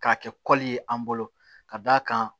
K'a kɛ ye an bolo ka d'a kan